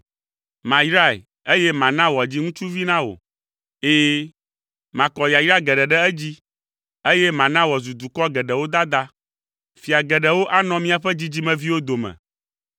Mayrae, eye mana wòadzi ŋutsuvi na wò! Ɛ̃, makɔ yayra geɖe ɖe edzi, eye mana wòazu dukɔ geɖewo dada! Fia geɖewo anɔ miaƒe dzidzimeviwo dome.”